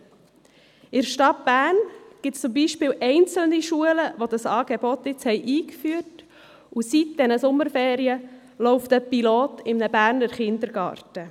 In der Stadt Bern gibt es zum Beispiel einzelne Schulen, die dieses Angebot nun eingeführt haben, und seit diesen Sommerferien läuft ein Pilotprojekt in einem Berner Kindergarten.